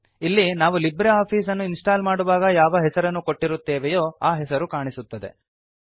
ಇಲ್ಲಿ ನಾವು LibreOffice ಅನ್ನು ಇನ್ಸ್ಟಾಲ್ ಮಾಡುವಾಗ ಯಾವ ಹೆಸರನ್ನು ಕೊಟ್ಟಿರುತ್ತೇವೆಯೋ ಆ ಹೆಸರು ಕಾಣಿಸುತ್ತದೆ